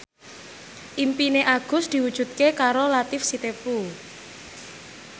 impine Agus diwujudke karo Latief Sitepu